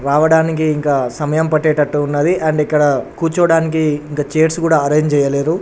-- రావడానికి ఇంకా సమయం పట్టేటట్టు ఉన్నది అండ్ ఇక్కడ కూర్చోవడానికి ఇంకా చైర్స్ కూడా అరేంజ్ చేయలేదు.